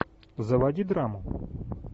заводи драму